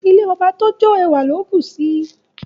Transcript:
Ilé ọba tó jọ ẹwà ló bù sí I.